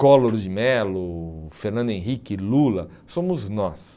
Collor de Mello, Fernando Henrique, Lula, somos nós.